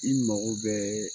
I mago bɛɛ